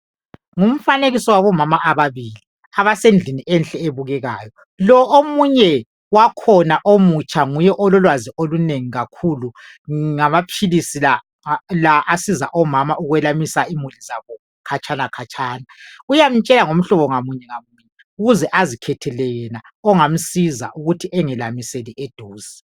Ngumfanekiso wabomama ababili abasendlini enhle ebukekayo lo omunye wakhona omutsha Nguye ololwazi olunengi kakhulu ngamaphilisi la asiza omama ukwelamisa imuli zabo khatshana lakhatshana uyamtshela ngomhlobo ngamunye ngamunye ukuze azikhethele yena ongamsiza ukuthi engelamiseli eduze laduze